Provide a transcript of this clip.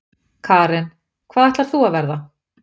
Karen: Hvað ætlar þú að verða?